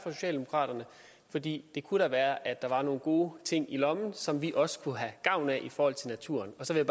socialdemokraterne fordi det kunne da være at der var nogle gode ting i lommen som vi også kunne have gavn af i forhold til naturen så vil